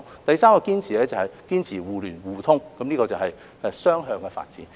第三個堅持是堅持互聯互通，這是雙向的發展。